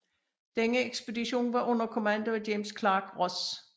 Denne ekspedition var under kommando af James Clark Ross